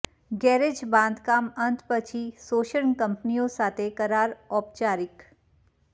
garage બાંધકામ અંત પછી શોષણ કંપનીઓ સાથે કરાર ઔપચારિક